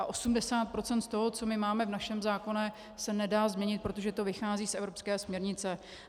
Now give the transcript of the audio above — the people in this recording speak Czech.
A 80 % z toho, co máme v našem zákoně, se nedá změnit, protože to vychází z evropské směrnice.